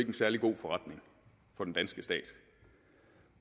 en særlig god forretning for den danske stat